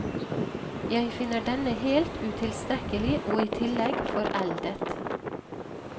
Jeg finner denne helt utilstrekkelig, og i tillegg foreldet.